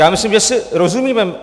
Já myslím, že si rozumíme.